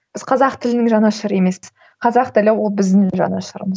біз қазақ тілінің жанашыры емеспіз қазақ тілі ол біздің жанашырымыз